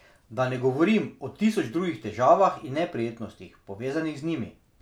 Da ne govorim o tisoč drugih težavah in neprijetnostih, povezanih z njimi.